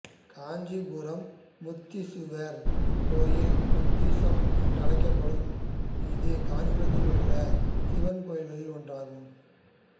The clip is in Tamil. காஞ்சிபுரம் முத்தீசுவரர் கோயில் முத்தீசம் என்றறியப்படும் இது காஞ்சிபுரத்திலுள்ள சிவக்கோயில்களில் ஒன்றாகும்